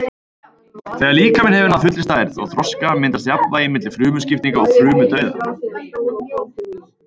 Þegar líkaminn hefur náð fullri stærð og þroska myndast jafnvægi milli frumuskiptinga og frumudauða.